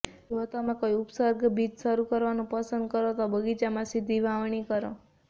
જો તમે કોઈ ઉપસર્ગ બીજ શરૂ કરવાનું પસંદ કરો તો બગીચામાં સીધી વાવણી કરો